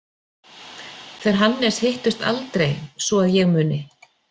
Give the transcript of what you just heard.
Þeir Hannes hittust aldrei svo að ég muni.